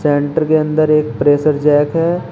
Centre के अंदर एक प्रेशर जैक है।